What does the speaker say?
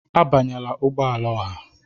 Abanyela ụgbọ ala ọha!